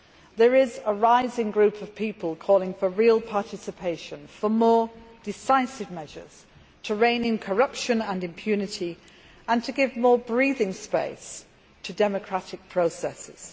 There is a growing group of people calling for real participation, for more decisive measures to rein in corruption and impunity, and for more breathing space for democratic processes.